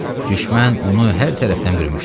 Düşmən onu hər tərəfdən bürümüşdü.